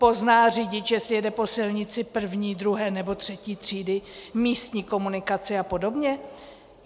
Pozná řidič, jestli jede po silnici první, druhé nebo třetí třídy místní komunikace a podobně?